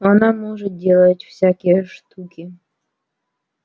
она может делать всякие штуки